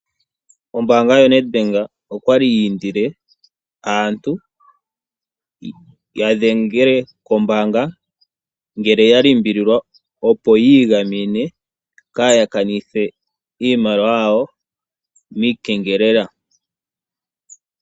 Ombaanga yoNedBank okwali yi indile aantu ya dhengele kombaanga ngele ya limbililwa opo yi igamene kaaya kanithe iimaliwa yawo okupitila miikengelela.